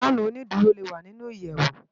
Fànú ónìdúró lé wá ninú iyèwú